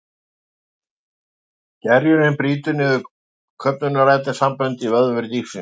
Gerjunin brýtur niður köfnunarefnissambönd í vöðvum dýrsins.